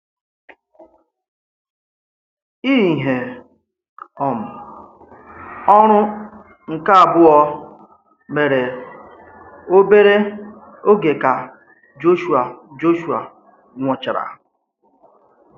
Íhè um ọ̀rụ̀ nke àbụ̀ọ̀ mèrè obere ògé kà Jọ̀shụà Jọ̀shụà nwụ̀chàrà.